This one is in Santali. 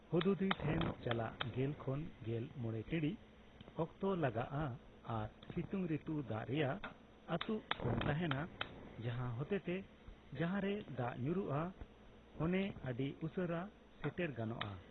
ᱦᱩᱫᱦᱩᱫᱤ ᱴᱷᱮᱱ ᱪᱟᱞᱟᱜ ᱜᱮᱞ ᱠᱷᱚᱱ ᱜᱮᱞ ᱢᱚᱲᱮᱴᱤᱬᱤᱡ ᱚᱠᱛᱚ ᱞᱟᱜᱟᱜᱼᱟ ᱟᱨ ᱥᱤᱛᱩᱝ ᱨᱤᱛᱩ ᱫᱟᱜ ᱨᱮᱭᱟᱜ ᱟᱹᱴᱩᱜ ᱠᱚᱢ ᱛᱟᱦᱮᱸᱱᱟ, ᱡᱟᱦᱟᱸ ᱦᱚᱛᱮᱛᱮ ᱡᱟᱦᱟᱸᱨᱮ ᱫᱟᱜ ᱧᱩᱨᱩᱜᱼᱟ ᱚᱱᱮ ᱟᱹᱰᱤ ᱩᱥᱟᱨᱟ ᱥᱮᱴᱮᱨ ᱜᱟᱱᱚᱜᱼᱟ ᱾